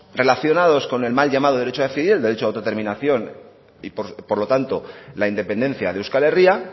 relacionados con el mal llamado derecho a decidir el derecho de autodeterminación y por lo tanto la independencia de euskal herria